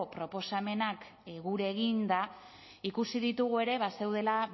proposamenak gure eginda ikusi ditugu ere bazeudela